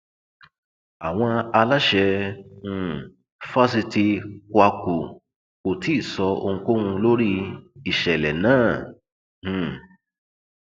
àwọn aláṣẹ um fásitì kwakù kò tí ì sọ ohunkóhun lórí ìṣẹlẹ náà um